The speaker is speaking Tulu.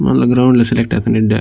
ಗ್ರೌಂಡ್ ಲ ಸೆಲೆಕ್ಟ್ ಆತುಂಡು ಎಡ್ಡೆ.